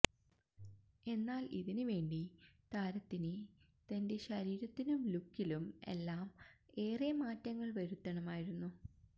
എന്നാല് ഇതിന് വേണ്ടി താരത്തിന് തന്റെ ശരീരത്തിനും ലുക്കിലും എല്ലാം ഏറെ മാറ്റങ്ങള് വരുത്തണമായിരുന്നു